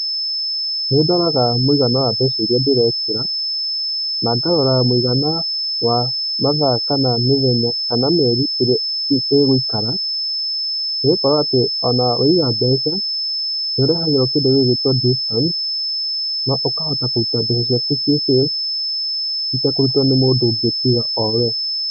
Nĩndoraga mũigana wa mbeca iria ndĩrekĩra, na ngarora mũigana wa mathaa kana mĩthenya kana mĩeri ĩrĩa ĩgũikara, nĩgũkorwo atĩ waiga mbeca nĩũrĩhagwo kĩndũ gĩgwĩtwo discount na ũkahota kũruta mbeca ciaku ciĩ safe itekũrutwo nĩ mũndũ ũngĩ tiga we.